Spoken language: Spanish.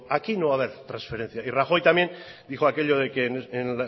aquí no va a haber transferencia y rajoy también dijo aquello de que en